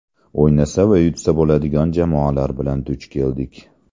O‘ynasa va yutsa bo‘ladigan jamoalar bilan duch keldik.